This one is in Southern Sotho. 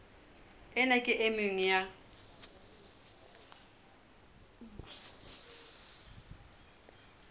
ena ke e nngwe ya